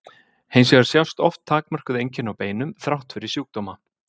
hins vegar sjást oft takmörkuð einkenni á beinum þrátt fyrir sjúkdóma